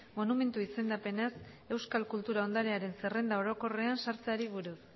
monumentu izendapenaz euskal kultura ondarearen zerrenda orokorrean sartzeari buruz